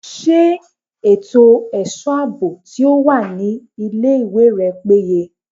Ṣé ètò ẹ̀ṣọ́ àbò tí ó wà ní ilé ìwé rẹ péye?